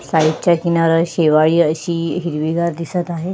सायडच्या किनाऱ्यावर शेवाळी अशी हिरवीगार दिसत आहे.